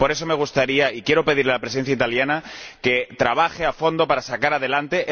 Por eso, me gustaría pedirle a la Presidencia italiana que trabaje a fondo para sacarla adelante.